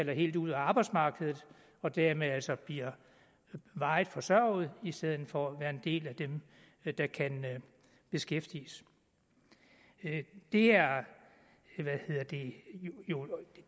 helt ud af arbejdsmarkedet og dermed altså blive varigt forsørget i stedet for at være en del af dem der kan beskæftiges det er jo